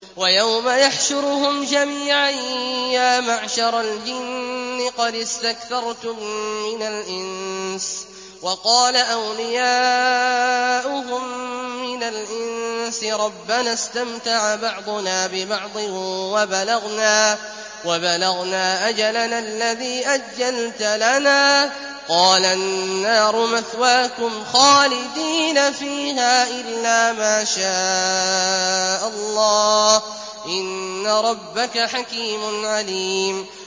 وَيَوْمَ يَحْشُرُهُمْ جَمِيعًا يَا مَعْشَرَ الْجِنِّ قَدِ اسْتَكْثَرْتُم مِّنَ الْإِنسِ ۖ وَقَالَ أَوْلِيَاؤُهُم مِّنَ الْإِنسِ رَبَّنَا اسْتَمْتَعَ بَعْضُنَا بِبَعْضٍ وَبَلَغْنَا أَجَلَنَا الَّذِي أَجَّلْتَ لَنَا ۚ قَالَ النَّارُ مَثْوَاكُمْ خَالِدِينَ فِيهَا إِلَّا مَا شَاءَ اللَّهُ ۗ إِنَّ رَبَّكَ حَكِيمٌ عَلِيمٌ